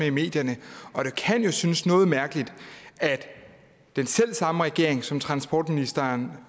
i medierne og det kan jo synes noget mærkeligt at den selv samme regering som transportministeren